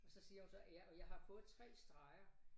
Og så siger hun så ja og jeg har fået 3 streger